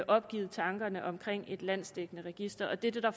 opgivet tanken om et landsdækkende register og det er det der